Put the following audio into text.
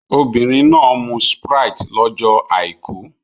Obìnrin náà mu Sprite lọ́jọ́ Àìkú